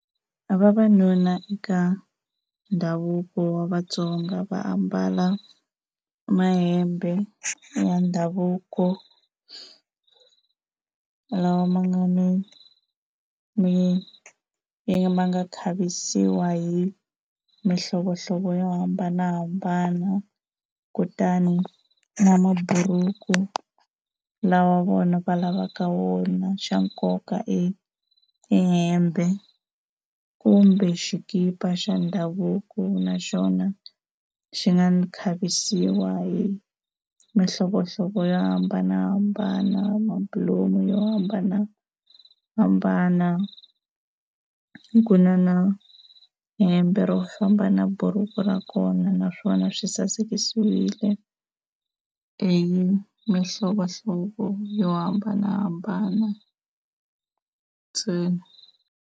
Vavanuna eka ndhavuko wa Vatsonga va ambala mahembe ya ndhavuko lawa ma nga ni ma nga khavisiwa hi mihlovohlovo yo hambanahambana, kutani na maburuku lawa vona va lavaka wona xa nkoka i i hembe kumbe xikipa xa ndhavuko naxona xi nga khavisiwa hi mihlovohlovo yo hambanahambana mabulomu yo hambanahambana. Ku na na hembe ro famba na buruku ra kona naswona swi sasekile hi mihlovohlovo yo hambanahambana ntsena.